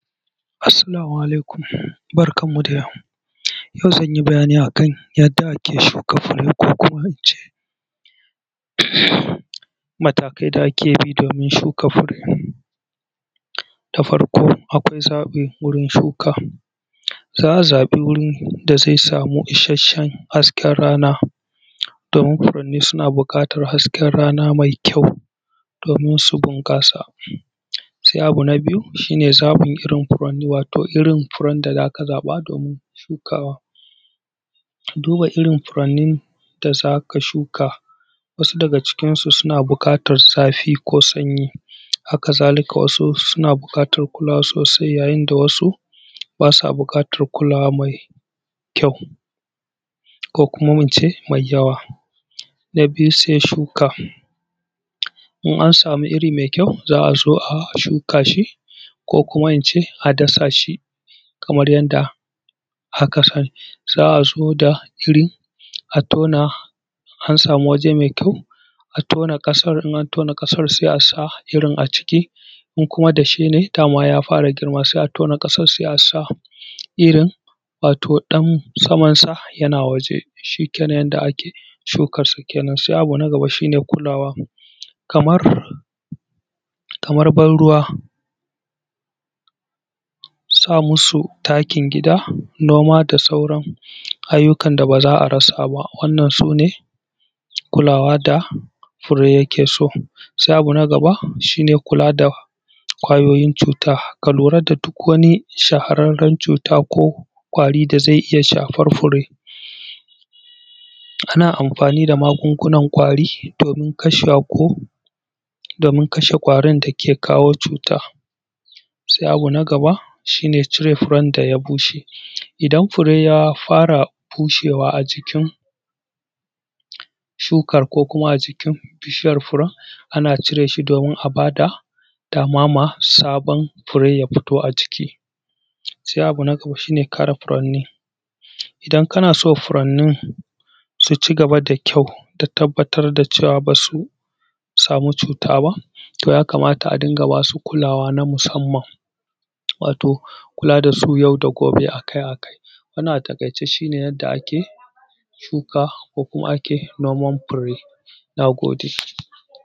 Assalamu alaikum. Barkanmu da yau. Yau zan yi bayani a kan yadda ake shuka fure ko kuma in ce, matakai da ake bi domin shuka fure. Da farko akwai zaɓi wurin shuka fure. Za a zaɓi wurin da zai samu isasshen hasken rana, domin furanni suna buƙatar hasken rana mai kyau, domin su bunƙasa. Sai abu na biyu shi ne, zaɓin irin furanni, wato irin furen da za ka zaɓa do:min shukawa ka duba irin furannin da za ka shuka. Wasu daga cikinsu suna buƙatar zafi ko sanyi. Haka zalika wasu suna buƙatar kulawa sosai yayin da wasu ba sa buƙatar kulawa mai kyau, ko kuma mu ce mai yawa. Na biyu sai shuka. In an samu iri mai kyau, za a zo a shuka shi, ko kuma in ce a dasa shi. Kamar yanda aka sani, za a zo da iri a tona, in an samu waje mai kyau a tona ƙasar in an tona ƙasar sai a sa irin a ciki. In kuma dashe ne da ma ya fara girma sai a tona ƙasar sai a sa irin, wato ɗan samansa yana waje. Shi ke nan yanda ake shuke-shuken nan. Sai abu na gaba shi ne kulawa kamar, kamar ban ruwa; sa musu takin gida; noma da sauran ayyukan da ba za a rasa ba. Wannan su ne kulawa da fure yake so. Sai abu na gaba, shi ne kula da ƙwayoyin cuta. Ka lura da duk wani shahararren cuta ko ƙwari da zai iya shafar fure. Ana amfani da magungunan ƙwari domin kashewa ko domin kashe ƙwarin da ke kawo cuta. Sai abu na gaba, shi ne cire furen da ya bushe. Idan fure ya fara bushewa a jikin shukar ko kuma a jikin bishiyar furen, ana cire shi domin a ba da dama ma sabon fue ya fito a ciki. Sai abu na gaba shi ne kare furanni. Idan kana so furanni su ci gaba da kyau da tabbatar da cewa ba su samu cuta ba, to ya kamata a dunga ba su kulawa na musamman, wato kula da su yau da gobe a kai a kai. Wannan a taƙaice shi ne yadda ake shuka ko kuma ake noman fure. Na gode.